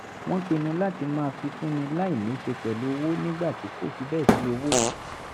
wọ́n pinnu láti máa fifúnni láì níṣe pẹ̀lú owó nígbà tí kò fi bẹ́ẹ̀ sí owó